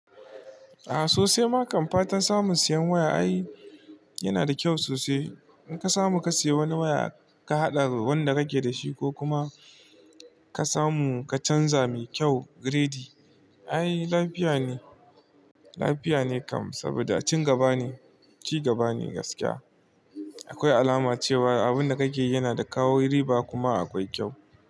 A'a sosai. Makam fatan samun sayan waya ai yana da kyau sosai. In ka samu ka sayi wani waya ka haɗa da wanda kake da shi ko kuma ka samu ka canza mai kyau giredi, ai lafiya ne. Lafiya ne kam saboda ci gaba ne. Ci gaba ne gaskiya. Akwai alama cewa abin da kake yi yana da kawo riba kuma akwai kyau.